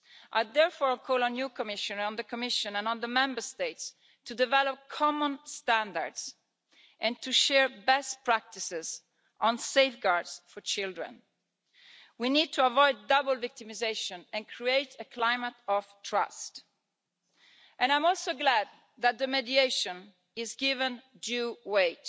I therefore call on you, Commissioner, on the Commission and on the Member States to develop common standards and to share best practices on safeguards for children. We need to avoid double victimisation and create a climate of trust and I'm also glad that mediation is given due weight.